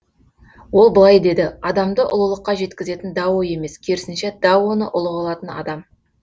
ол былай деді адамды ұлылыққа жеткізетін дао емес керісінше даоны ұлы қылатын адам